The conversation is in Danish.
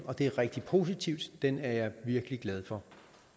og det er rigtig positivt og den er jeg virkelig glad for